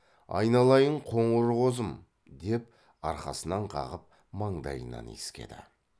айналайын қоңыр қозым деп арқасынан қағып маңдайынан иіскеді